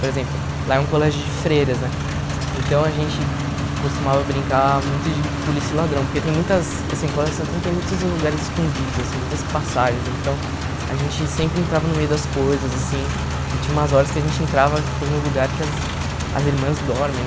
Por exemplo, lá é um colégio de freiras né, então a gente costumava brincar muito de polícia e ladrão, porque tem muitas assim o Colégio Santana tem muitos lugares escondidos assim, muitas passagens, então a gente sempre entrava no meio das coisas assim e tinha umas horas que a gente entrava que tem o lugar que as as irmãs dormem.